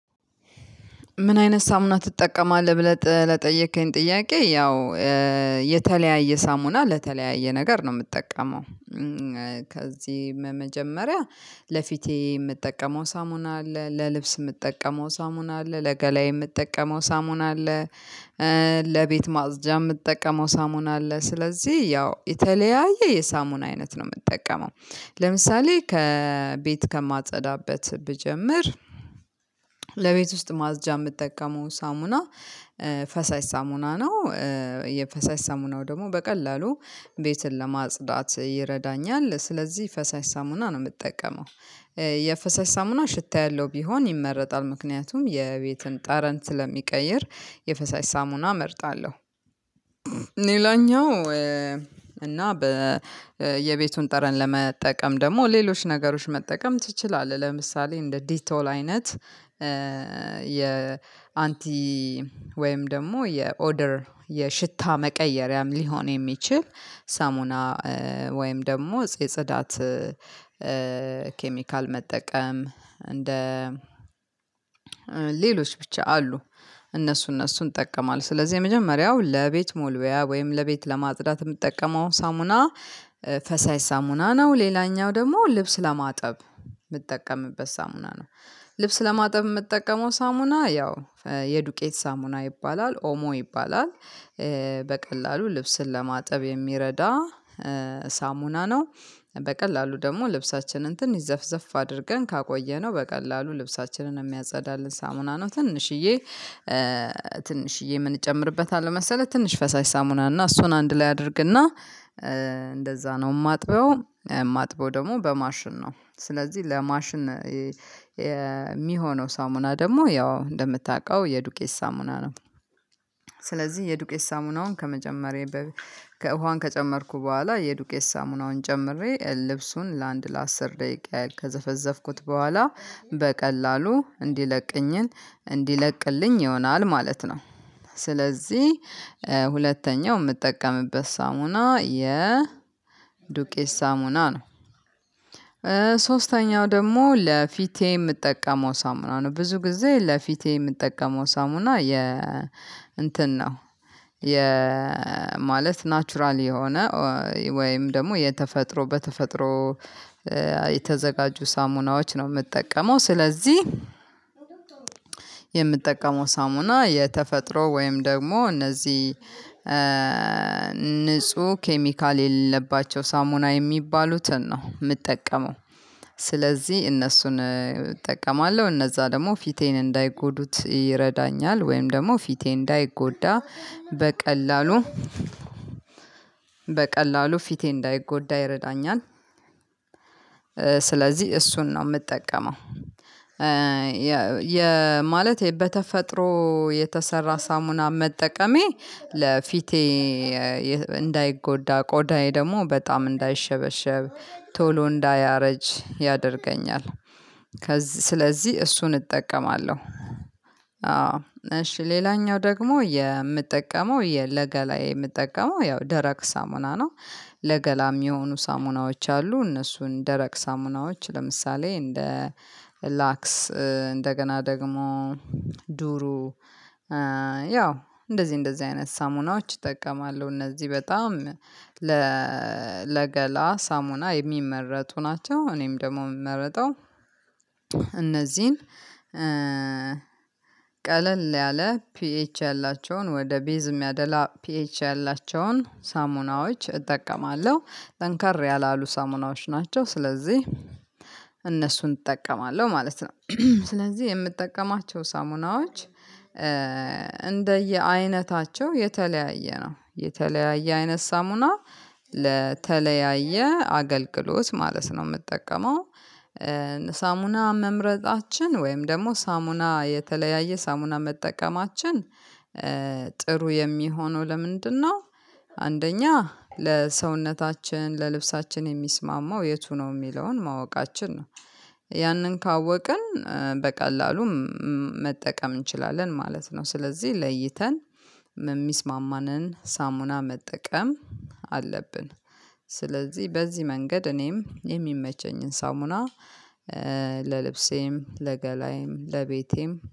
ምን አይነት ሳሙና ትጠቀማለህ? ብለህ ለጠየከኝ ጥያቄ ያው የተለያየ ሳሙና ለተለያየ ነገር ነው የምትጠቀመው። ከዚህ መጀመሪያ ለፊቴ የምትጠቀመው ሳሙና አለ ለልብስ የምትጠቀመው ሳሙና አለ ለገላዬ የምትጠቀመው ሳሙና አለ። ለቤት ማጽጃ የምትጠቀመው ሳሙና አለ ስለዚህ ያው የተለያየ የሳሙና አይነት ነው የምትጠቀመው። ለምሳሌ ከ ቤት ከማጸዳበት ብጀምር ለቤት ውስጥ ማጽጃ የምትጠቀመው ሳሙና ፈሳሽ ሳሙና ነው። የፈሳሽ ሳሙናው ደግሞ በቀላሉ ቤትን ለማጽዳት ይረዳኛል ስለዚህ ፈሳሽ ሳሙና ነው የምጠቀመው። የፈሳሽ ሳሙና ሽታ ያለው ቢሆን ይመረጣል ምክንያቱም የቤትን ጠረን ስለሚቀይር የፈሳሽ ሳሙና እመርጣለሁ። ሌላኛው እና በ የቤቱን ጠረን ለመጠቀም ደግሞ ሌሎች ነገሮች መጠቀም ትችላለህ። ለምሳሌ እንደ ዲቶል አይነት የአንቲ ወይም ደግሞ የኦደር የሽታ መቀየሪያም ሊሆን የሚችል ሳሙና። ወይም ደግሞ የጽዳት ኬሚካል መጠቀም እንደ ሌሎች ብቻ አሉ እነሱ እነሱን እጠቀማለሁ። ስለዚህ የመጀመሪያው ለቤት መወልወያ ወይም ለቤት ለማጽዳት የምትጠቀመው ሳሙና ፈሳሽ ሳሙና ነው። ሌላኛው ደግሞ ልብስ ለማጠብ የምጠቀምበት ሳሙና ነው። ልብስ ለማጠብ የምጠቀመው ሳሙና ያው የዱቄት ሳሙና ይባላል ኦሞ ይባላል። በቀላሉ ልብስን ለማጠብ የሚረዳ ሳሙና ነው። በቀላሉ ደግሞ ልብሳችንን ትንሽ ዘፍዘፍ አድርገን ካቆየነው በቀላሉ ልብሳችንን የሚያጸዳልን ሳሙና ነው። ትንሽዬ ትንሽዬ ምን እጨምርበታለሁ መሰለህ ትንሽ ፈሳሽ ሳሙና እና እሱን አንድ ላይ አደርግና እንደዛ ነው የማጥበው። የማጥበው ደግሞ በማሽን ነው ስለዚህ ለማሽን የሚሆነው ሳሙና ደግሞ ያው እንደምታውቀው የዱቄስ ሳሙና ነው። ስለዚህ የዱቄት ሳሙናውን ከመጨመሬ በፊት ውሃ ከጨመርኩ በኋላ የዱቄት ሳሙናውን ጨምሬ ልብሱን ለአንድ ለአስር ደቂቃ ያህል ከዘፈዘፍኩት በኋላ በቀላሉ እንዲለቅኝን እንዲለቅልኝ ይሆናል ማለት ነው። ስለዚህ ሁለተኛው የምጠቀምበት ሳሙና የ ዱቄት ሳሙና ነው። ሶስተኛው ደግሞ ለፊቴ የምጠቀመው ሳሙና ነው። ብዙ ጊዜ ለፊቴ የምጠቀመው ሳሙና የ እንትን ነው። የ ማለት ናቹራል የሆነ ወይም ደግሞ የተፈጥሮ በተፈጥሮ የተዘጋጁ ሳሙናዎች ነው የምጠቀመው። ስለዚህ የምጠቀመው ሳሙና የተፈጥሮ ወይም ደግሞ እነዚህ ንጹህ ኬሚካል የሌለባቸው ሳሙና የሚባሉትን ነው የምጠቀመው። ስለዚህ እነሱን እጠቀማለሁ እነዛ ደግሞ ፊቴን እንዳይጎዱት ይረዳኛል። ወይም ደግሞ ፊቴ እንዳይጎዳ በቀላሉ በቀላሉ ፊቴ እንዳይጎዳ ይረዳኛል። ስለዚህ እሱን ነው የምጠቀመው። የ ማለት በተፈጥሮ የተሰራ ሳሙና መጠቀሜ ለፊቴ እንዳይጎዳ ቆዳዬ ደግሞ በጣም እንዳይሸበሸብ ቶሎ እንዳያረጅ ያደርገኛል። ከዚህ ስለዚህ እሱን እጠቀማለሁ። እሺ ሌላኛው ደግሞ የምጠቀመው የ ለገላዬ የምጠቀመው ያው ደረቅ ሳሙና ነው። ለገላም የሆኑ ሳሙናዎች አሉ እነሱን ደረቅ ሳሙናዎች ለምሳሌ እንደ ላክስ እንደገና ደግሞ ዱሩ ያው እንደዚህ እንደዚህ አይነት ሳሙናዎች እጠቀማለሁ። እነዚህ በጣም ለገላ ሳሙና የሚመረቱ ናቸው። እኔም ደግሞ የምመርጠው እነዚህን ቀለል ያለ ፒኤች ያላቸውን ወደ ቤዝ የሚያደላ ፒኤች ያላቸውን ሳሙናዎች እጠቀማለሁ። ጠንከር ያላሉ ሳሙናዎች ናቸው ስለዚህ እነሱን እጠቀማለሁ ማለት ነው። ስለዚህ የምጠቀማቸው ሳሙናዎች እንደየአይነታቸው የተለያየ ነው የተለያየ አይነት ሳሙና ለተለያየ አገልግሎት ማለት ነው የምጠቀመው። ሳሙና መምረጣችን ወይም ደግሞ ሳሙና የተለያየ ሳሙና መጠቀማችን ጥሩ የሚሆነው ለምንድነው? አንደኛ ለሰውነታችን ለልብሳችን የሚስማማው የቱ ነው የሚለውን ማወቃችን ነው። ያንን ካወቅን በቀላሉ መጠቀም እንችላለን ማለት ነው። ስለዚህ ለይተን የሚስማማንን ሳሙና መጠቀም አለብን። ስለዚህ በዚህ መንገድ እኔም የሚመቸኝን ሳሙና ለልብሴም ለገላዬም ለቤቴም